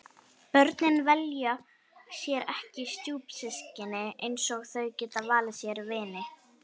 Börnin velja sér ekki stjúpsystkini eins og þau geta valið sér vini.